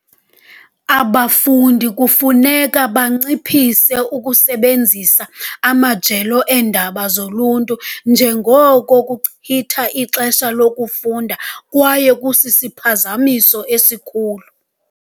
Abafundi kufuneka banciphise ukusebenzisa amajelo eendaba zoluntu, njengoko kuchitha ixesha lokufunda kwaye kusisiphazamiso esikhulu.